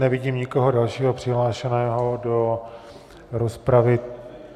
Nevidím nikoho dalšího přihlášeného do rozpravy.